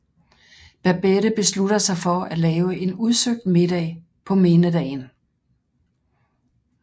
Babette beslutter sig for at lave en udsøgt middag på mindedagen